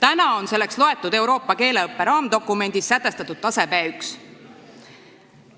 Euroopa keeleõppe raamdokumendis on selleks tasemeks sätestatud B1.